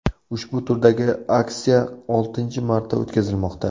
Ushbu turdagi aksiya oltinchi marta o‘tkazilmoqda.